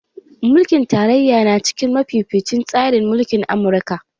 Mulkin tarayya na cikin mafificin tsarin mulkin Amurka